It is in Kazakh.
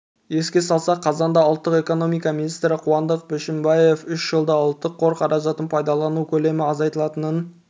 еске салсақ қазанда ұлттық экономика министрі қуандық бішімбаев үш жылда ұлттық қор қаражатын пайдалану көлемі азайтылатынын